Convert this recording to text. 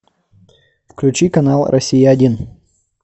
включи канал россия один